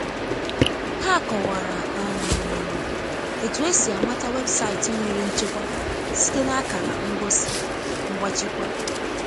ha kọwara um etụ esi amata weebụsaịti nwere nchekwa site na akara ngosi ngbachikwa